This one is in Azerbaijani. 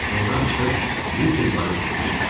Kinodan çıxıb Wicker Bar-a üz tutdum.